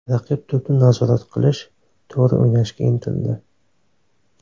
Raqib to‘pni nazorat qilish, to‘g‘ri o‘ynashga intildi.